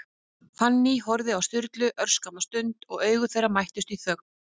Fanný horfði á Sturlu örskamma stund, og augu þeirra mættust í þögn.